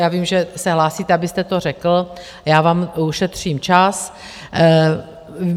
Já vím, že se hlásíte, abyste to řekl, já vám ušetřím čas.